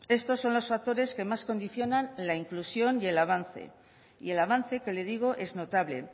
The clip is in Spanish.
estos son los factores que más condicionan la inclusión y el avance y el avance que le digo es notable